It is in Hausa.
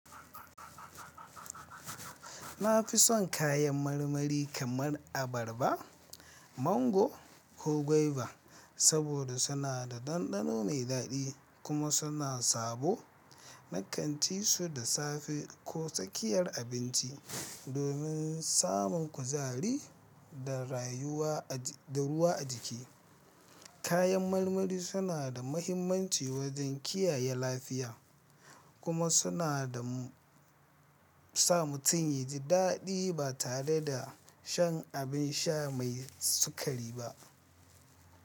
Na fi son kayan marmari kamar abarba, mango ko guava saboda suna da ɗanɗano mai daɗi kuma suna sabo. Na kanci su da safe ko tsakiyar abinci domin samun kuzari da ruwa a jiki. Kayan marmari suna da mahimmanci wajen kiyaye lafiya kuma suna sa mutum yaji daɗi ba tare da shan abin sha mai sukari ba.